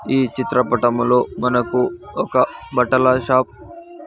ఈ చిత్రపటంలో మనకు ఒక బట్టల షాప్ .